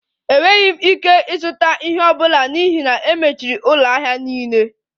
Enweghị m ike ịzụta ihe ọ bụla n'ihi na e mechiri ụlọ ahịa niile